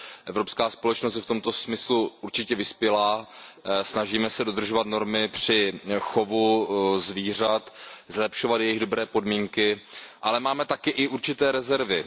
Evropská společnost je v tomto smyslu určitě vyspělá, snažíme se dodržovat normy při chovu zvířat, zlepšovat jejich dobré podmínky, ale máme taky i určité rezervy.